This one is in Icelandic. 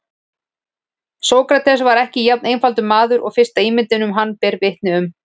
Sókrates var ekki jafn einfaldur maður og fyrsta ímyndin um hann ber vitni um.